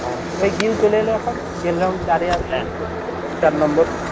হ্যাঁ এ গিল চলে এল এখন কেল রাহুল চারে আছে চার number